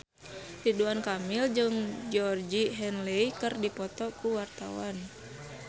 Ridwan Kamil jeung Georgie Henley keur dipoto ku wartawan